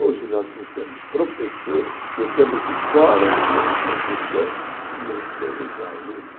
Hoje nós não temos professores, não temos escola, não temos professores e não temos aluno.